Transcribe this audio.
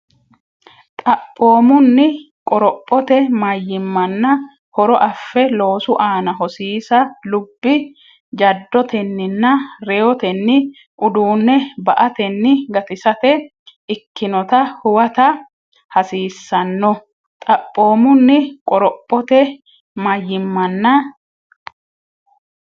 Xaphoomunni, qorophote mayimmanna horo afe loosu aana hosiisa lub- jaddotenninna reyotenni ,uduunne ba”atenni gatisate ikkinota huwata hasiissanno Xaphoomunni, qorophote mayimmanna.